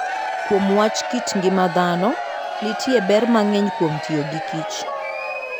Kuom wach kit ngima dhano, nitie ber mang'eny kuom tiyo gikich